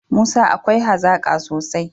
Musa akwai hazaka sosai